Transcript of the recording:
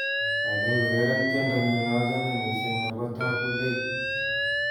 Kaikai ureren tiendonyu nachame mising' nebo Tabu Ley